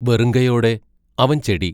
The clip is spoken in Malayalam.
വെറുങ്കയോടെ അവൻ ചെടി.